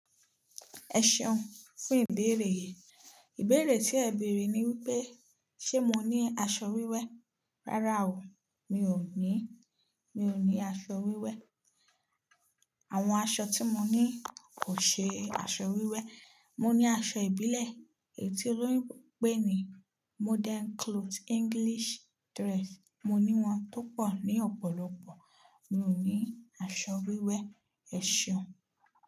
Ẹ ṣeun fún ìbéèrè. Ìbéèrè tí ẹ bèèrè ni wípé, ṣe mo ní aṣọ wíwẹ́? Rárá o, mi ò ní, mi ò ní aṣọ wíwẹ́. Àwọn aṣọ tí mo ní kò ṣe aṣọ wíwẹ́. Mo ní aṣọ ìbílẹ̀ èyí tí olóyún ń pè ní modern cloth, English dress. Mo ní wọn tó pọ̀ ní ọ̀pọ̀lọpọ̀. Mi ò ní aṣọ wíwẹ́. Ẹ ṣeun.